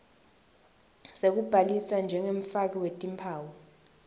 sekubhalisa njengemfaki wetimphawu